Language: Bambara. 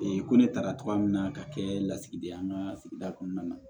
ko ne taara togoya min na ka kɛ lasigiden an ka sigida kɔnɔna na